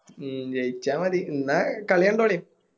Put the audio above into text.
ഉം ജയിച്ച മതി എന്ന കളി കണ്ടോളി